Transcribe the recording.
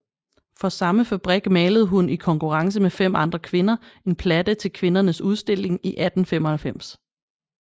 For samme fabrik malede hun i konkurrence med 5 andre kvinder en platte til Kvindernes Udstilling i 1895